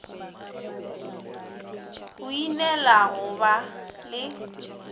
go ineela go ba le